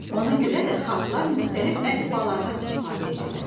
Ona görə də xalqlar müxtəlif əlifbalardan istifadə edirlər.